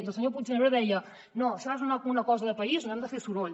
i el senyor puigneró deia no això és una cosa de país no hem de fer soroll